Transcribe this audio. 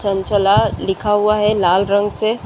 चंचला लिखा हुआ है लाल रंग से।